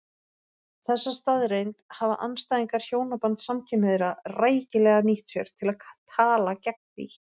Þessa staðreynd hafa andstæðingar hjónabands samkynhneigðra rækilega nýtt sér til að tala gegn því.